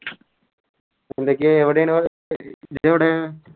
എന്തൊക്കെയാ എവിടെണ് ഇജ്ജെവിടെ